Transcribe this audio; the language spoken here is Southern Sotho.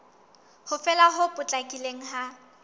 ho fela ho potlakileng ha